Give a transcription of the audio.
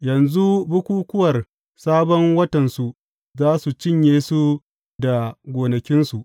Yanzu bukukkuwar Sabon Watansu za su cinye su da gonakinsu.